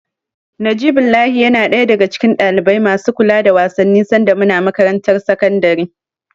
Najibullahi yana ɗaya daga cikin ɗalibai masu kula da wasanni sanda muna makarantar sakandare.